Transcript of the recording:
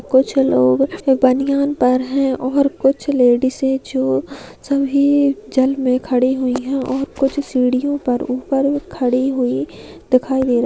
कुछ लोग बनियान पर है और कुछ लेडिज है जो सभी जल मे खड़ी हुई है और कुछ सीढ़ियो पर ऊपर खड़ी हुई दिखाई दे--